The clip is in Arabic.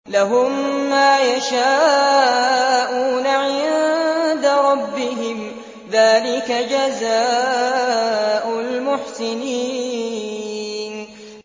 لَهُم مَّا يَشَاءُونَ عِندَ رَبِّهِمْ ۚ ذَٰلِكَ جَزَاءُ الْمُحْسِنِينَ